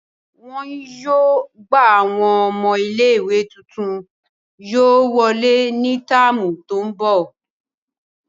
Wọn yóô gba awọn ọmọ ìlé-ìwé tuntun yóò wọle ni táámu to ńbọ.